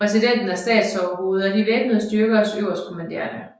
Præsidenten er statsoverhoved og de væbnede styrkers øverstkommanderende